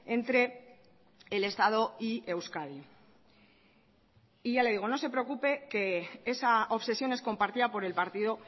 entre el estado y euskadi y ya le digo no se preocupe que esa obsesión es compartida por el partido